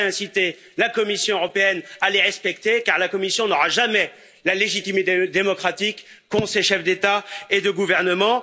Ça devrait inciter la Commission européenne à les respecter, car la Commission n'aura jamais la légitime démocratique qu'ont ces chefs d'État et de gouvernement.